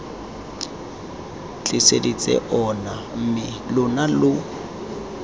tliseditse ona mme lona lo